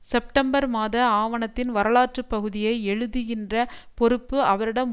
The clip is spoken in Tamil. செப்டம்பர் மாத ஆவணத்தின் வரலாற்று பகுதியை எழுதுகின்ற பொறுப்பு அவரிடம்